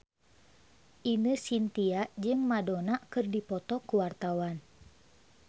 Ine Shintya jeung Madonna keur dipoto ku wartawan